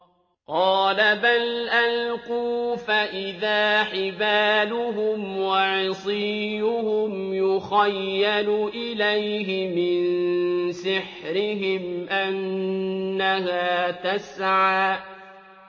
قَالَ بَلْ أَلْقُوا ۖ فَإِذَا حِبَالُهُمْ وَعِصِيُّهُمْ يُخَيَّلُ إِلَيْهِ مِن سِحْرِهِمْ أَنَّهَا تَسْعَىٰ